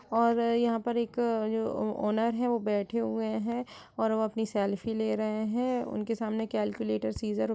और यहाँ पर एक जो ओनर है वो बैठे हुऐ हैं और वो अपनी सेल्फी ले रहे हैं। उनके सामने कैलकुलेटर सिस्सज़र --